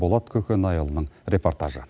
болат көкенайұлының репортажы